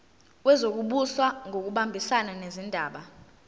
wezokubusa ngokubambisana nezindaba